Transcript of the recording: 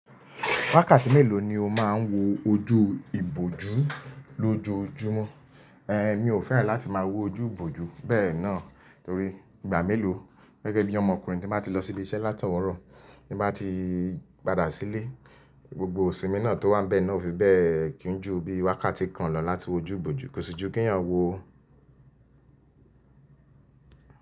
Wákàtí mélòó ni o máa ń wo ojú ìbòjú lójoojúmọ́? Ehn, mi ò fẹ́ràn láti máa wo ojú ìbòjú bẹ́ẹ̀ náà torí ìgbà mélòó gẹ́gẹ́ bí ọmọkùnrin tí máa ti lọ sí ibi iṣẹ́ láti owurọ́, tí mo ba ti padà sílé, gbogbo iṣìmi náà tó wá nibẹ́ẹ̀ náà ó fi bẹ́ẹ̀ kí n ju bí wákàtí kan lọ láti wo ojú ìbòjú. Kò sí ju kí eniyan wo.